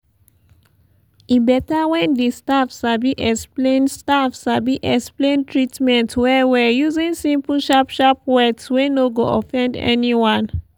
e beta when di staff sabi explain staff sabi explain treatment well-well using simple sharp sharp words wey no go offend anyone.